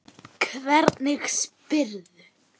Hvernig spyrðu.